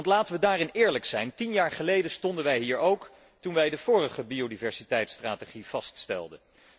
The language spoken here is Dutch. Want laten wij daarin eerlijk zijn, tien jaar geleden stonden wij hier ook, toen wij de vorige biodiversiteitsstrategie vaststelden.